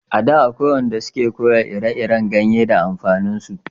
A da akwai wanda su ke koya ire iren ganye da amfanin su